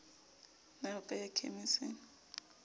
na o ka ya khemising